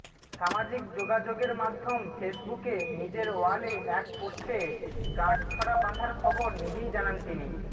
সামাজিক যোগাযোগের মাধ্যম ফেসবুকে নিজের ওয়ালে এক পোস্টে গাঁটছড়া বাঁধার খবর নিজেই জানান তিনি